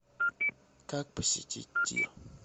как посетить тир